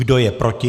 Kdo je proti?